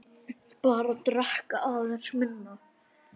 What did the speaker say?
Bara drekka aðeins minna.